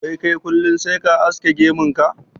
Wai kai kullin sai ka aske gemun ka?